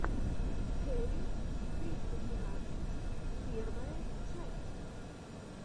кэрри триста двенадцать первая часть